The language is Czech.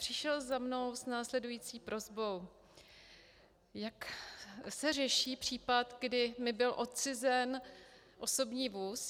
Přišel za mnou s následující prosbou: Jak se řeší případ, kdy mi byl odcizen osobní vůz.